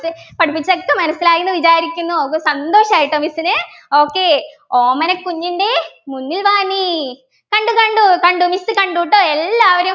പഠിപ്പിച്ചതൊക്കെ മനസ്സിലായി എന്ന് വിചാരിക്കുന്നു ഒക്ക സന്തോഷായി കേട്ടോ miss ന് okay ഓമനക്കുഞ്ഞിൻ്റെ മുന്നിൽ വാ നീ കണ്ടു കണ്ടു കണ്ടു miss കണ്ടുട്ടോ എല്ലാവരും